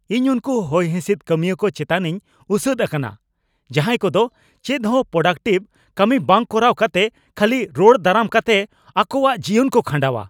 ᱤᱧ ᱩᱱᱠᱩ ᱦᱚᱭᱦᱤᱸᱥᱤᱫ ᱠᱟᱹᱢᱤᱭᱟᱹ ᱠᱚ ᱪᱮᱛᱟᱱᱤᱧ ᱩᱥᱟᱹᱫ ᱟᱠᱟᱱᱟ, ᱡᱟᱦᱟᱸᱭ ᱠᱚᱫᱚ ᱪᱮᱫᱦᱚᱸ ᱯᱨᱳᱰᱟᱠᱴᱤᱵᱷ ᱠᱟᱹᱢᱤ ᱵᱟᱝ ᱠᱚᱨᱟᱣ ᱠᱟᱛᱮ ᱠᱷᱟᱹᱞᱤ ᱨᱚᱲ ᱫᱟᱨᱟᱢ ᱠᱟᱛᱮᱜ ᱟᱠᱚᱣᱟᱜ ᱡᱤᱭᱚᱱ ᱠᱚ ᱠᱷᱟᱸᱰᱟᱣᱟ ᱾